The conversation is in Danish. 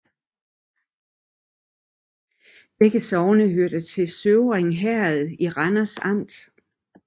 Begge sogne hørte til Støvring Herred i Randers Amt